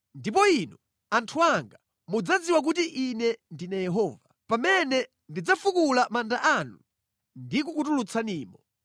Ndipo inu, anthu anga, mudzadziwa kuti Ine ndine Yehova, pamene ndidzafukula manda anu ndikukutulutsanimo.